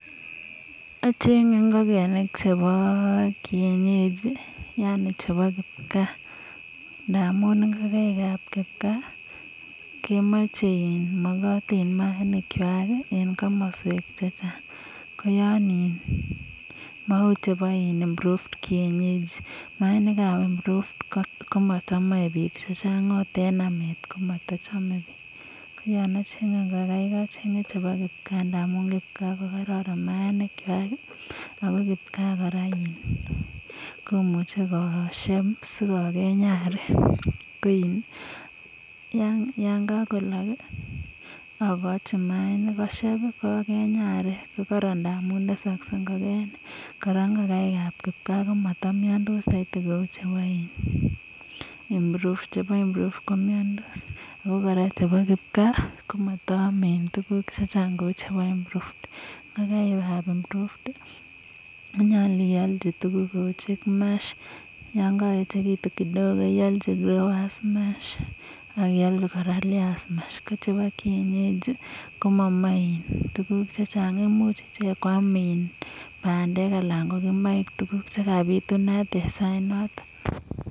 Ocheng'e ingokenik chebo Kienyeji yani chebo kipkaa, ndamun ingokenik chebo kipkaa kemoche, mogotin maanikwak en komoswek che chang. Ko yon iin, mou chepo improved kienyeji. Maanik ab improved ko motomoe biik che chang ot en amet komotochome biik. Ko yon ocheng'e ngokaik ocheng'e chebo kipkaa ndamun kipkaa ko koron maainikwak ago kipkaa kora komuche kosieb sikogeny arek. Yan kagolok agochi maainik kosieb, sikogeny arek, ko koron ndamun tesokse ngokenik. Kora ngokaik ab kipkaa komotomiondos soiti kou chebo improved. Chebo improved ko miondos ago kora chebo kipkaa komoto ome tuguk chechang kou chebo improved. Ngokaik ab improved konyolu iolchi tuguk kou: chick mash yon koechegitun kidogo iolchi growers mash ak iolchi kora layers mash. Ko chebo kienyeji komomoe tuguk che chang imuch ichek koam bandek anan ko kimoik tuguk che kabitunat en sait noto.